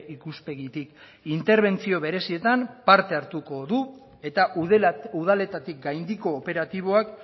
ikuspegitik interbentzio berezietan parte hartuko du eta udaletatik gaindiko operatiboak